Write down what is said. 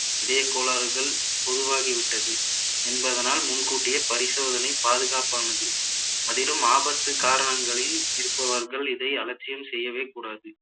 இதய கோளாறுகள் உருவாகி விட்டது என்பதனால் முன்கூட்டியே பரிசோதனை பாதுகாப்பானது அதிலும் ஆபத்து காரணங்களில் இருப்பவர்கள் இதை அலட்சியம் செய்யவே கூடாது